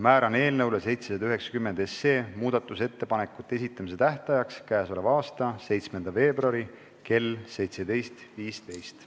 Määran eelnõu 790 muudatusettepanekute esitamise tähtajaks k.a 7. veebruari kell 17.15.